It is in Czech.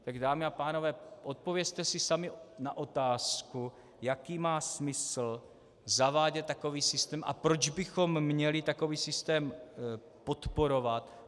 Tak dámy a pánové, odpovězte si sami na otázku, jaký má smysl zavádět takový systém a proč bychom měli takový systém podporovat.